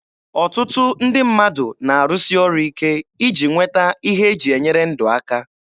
Ọtụtụ ndị mmadụ na-arụsi ọrụ ike iji nweta ihe e ji enyere ndụ aka.